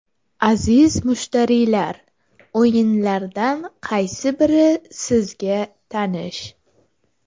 Aziz mushtariylar, o‘yinlardan qaysi biri sizga tanish.